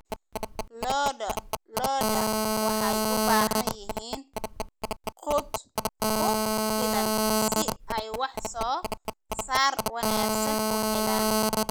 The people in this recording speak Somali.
Lo'da lo'da waxay u baahan yihiin quud ku filan si ay wax soo saar wanaagsan u helaan.